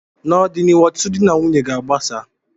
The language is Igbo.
n'ọdịnihu, ọtụtụ di na nwunye ga agbasa